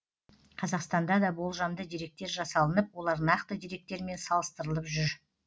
қазақстанда да болжамды деректер жасалынып олар нақты деректермен салыстырылып жүр